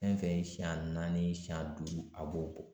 Fɛn fɛn ye siɲɛn naani siɲɛn duuru a b'o bɔ.